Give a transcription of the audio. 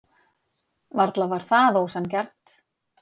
Varla var það ósanngjarnt.